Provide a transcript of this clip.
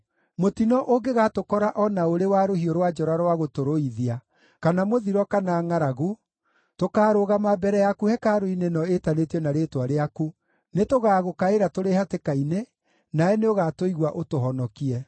‘Mũtino ũngĩgatũkora o na ũrĩ wa rũhiũ rwa njora rwa gũtũrũithia, kana mũthiro kana ngʼaragu, tũkaarũgama mbere yaku hekarũ-inĩ ĩno ĩtanĩtio na Rĩĩtwa rĩaku, nĩtũgaagũkaĩra tũrĩ hatĩka-inĩ, nawe nĩũgatũigua ũtũhonokie.’